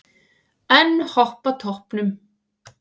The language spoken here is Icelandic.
Enn Hopp á toppnum